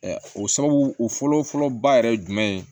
O sababu o fɔlɔ fɔlɔ ba yɛrɛ jumɛn ye